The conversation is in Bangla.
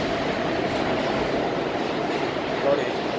করে